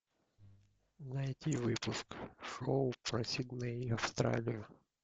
найти выпуск шоу про сидней австралию